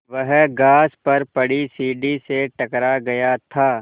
वह घास पर पड़ी सीढ़ी से टकरा गया था